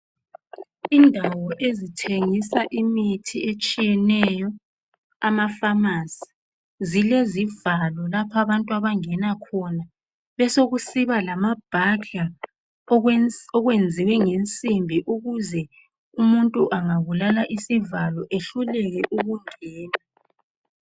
Indawo ezithengisa imithi etshiyeneyo amafamasi zilezivalo lapho abantu abangena khona besokusiba lama burglar okwenziwe ngensimbi ukuze umuntu angabulawa isivalo ehluleke ukungena.